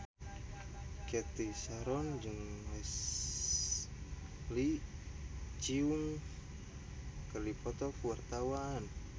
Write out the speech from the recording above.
Cathy Sharon jeung Leslie Cheung keur dipoto ku wartawan